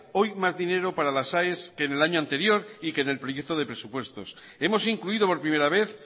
hoy más dinero para las aes que en el año anterior y que en el proyecto de presupuestos hemos incluido por primera vez